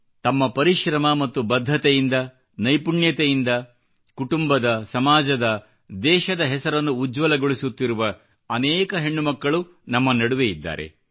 ತಮ್ಮ ಪರಿಶ್ರಮ ಮತ್ತು ಬದ್ಧತೆಯಿಂದ ನೈಪುಣ್ಯತೆಯಿಂದ ಕುಟುಂಬದ ಸಮಾಜದ ದೇಶದ ಹೆಸರನ್ನು ಉಜ್ವಲಗೊಳಿಸುತ್ತಿರುವ ಅನೇಕ ಹೆಣ್ಣುಮಕ್ಕಳು ನಮ್ಮ ನಡುವೆ ಇದ್ದಾರೆ